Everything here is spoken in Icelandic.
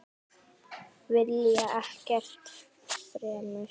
Vilja ekkert fremur.